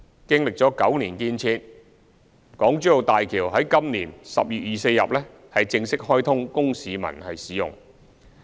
經歷9年建設，港珠澳大橋在今年10月24日正式開通供市民使用。